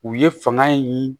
U ye fanga ye nin